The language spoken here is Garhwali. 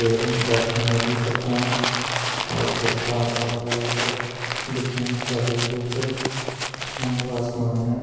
एवं गाठियुं नदी तखा अर ते पहाड़ फर बूट तख दिखेणि स्वाली बूट फांडो आसमान।